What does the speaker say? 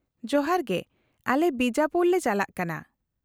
-ᱡᱚᱦᱟᱨ ᱜᱮ, ᱟᱞᱮ ᱵᱤᱡᱟᱯᱩᱨ ᱞᱮ ᱪᱟᱞᱟᱜ ᱠᱟᱱᱟ ᱾